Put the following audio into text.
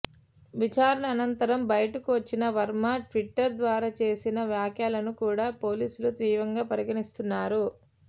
విచారణ అనంతరం బయటకు వచ్చిన వర్మ ట్విట్టర్ ద్వారా చేసిన వ్యాఖ్యలను కూడా పోలీసులు తీవ్రంగా పరిగణిస్తున్నారు